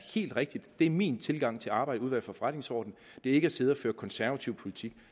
helt rigtigt det er min tilgang til arbejdet i udvalget for forretningsordenen det er ikke at sidde og føre konservativ politik